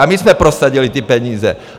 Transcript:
A my jsme prosadili ty peníze!